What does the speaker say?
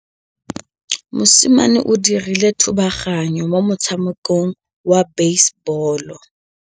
Mosimane o dirile thubaganyô mo motshamekong wa basebôlô.